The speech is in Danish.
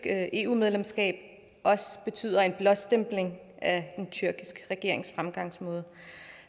eu medlemskab betyder en blåstempling af den tyrkiske regerings fremgangsmåde